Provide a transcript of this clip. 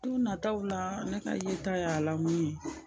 Don nataw la ne ka yeta y'a lamu ye